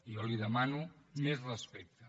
jo li demano més respecte